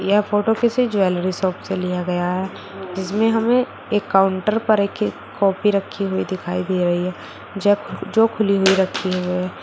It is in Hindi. यह फोटो किसी ज्वेलरी शॉप से लिया गया है इसमें हमें एक काउंटर पर एक कॉपी रखी हुई दिखाई दे रही है जो खुली हुई रखी हुई है।